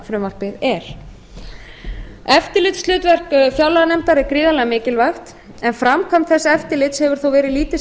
fjárlagafrumvarpið er eftirlitshlutverk fjárlaganefndar er gríðarlega mikilvægt framkvæmd þessa eftirlits hefur þó verið lítil